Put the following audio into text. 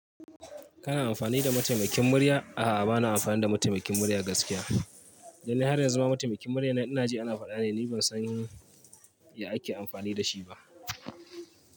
Kana amfani da mataimakin murya? A'a, ba na amfani da mataimakin murya gaskiya. Dan ni har yanzu ma mataimakin muryan nan ina ji ana faɗa ne, ni ban san ya ake amfani da shi ba.